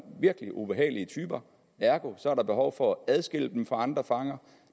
virkelig ubehagelige typer ergo er der behov for at adskille dem fra andre fanger